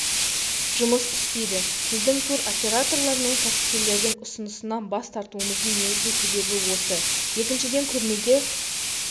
жұмыс істейді біздің туроператорлар мен кәсіпкерлердің ұсынысынан бас тартуымыздың негізгі себебі осы екіншіден көрмеге